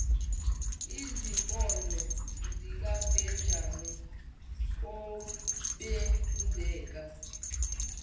izimpondo zikabhejane obenzeka